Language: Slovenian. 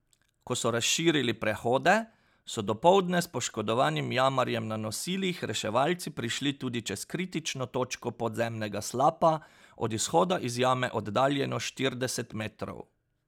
Ko so razširili prehode, so dopoldne s poškodovanim jamarjem na nosilih reševalci prišli tudi čez kritično točko podzemnega slapa, od izhoda iz jame oddaljeno štirideset metrov.